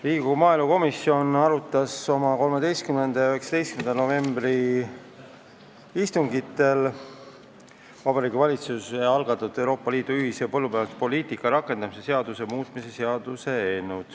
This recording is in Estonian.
Riigikogu maaelukomisjon arutas oma 13. ja 19. novembri istungil Vabariigi Valitsuse algatatud Euroopa Liidu ühise põllumajanduspoliitika rakendamise seaduse muutmise seaduse eelnõu.